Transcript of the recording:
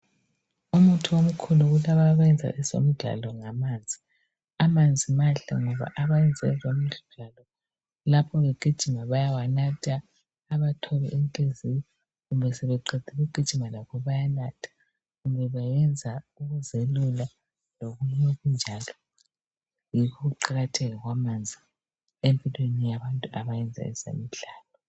Umuthi omkhulu kulabo abenza ezemidlalo ngamanzi. Amanzi mahle ngoba labo bayenza ezemidlalo lapho begijima bayawanatha .Ubathole emthunzini kumbe sebeqedile ukugijima lakho bayanatha. Kumbe bayenza ukuzelula lokunye kunjalo. Yikho ukuqakatheka kwamanzi empilweni yabantu abayenza ezemidlalo.